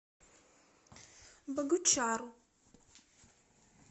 богучару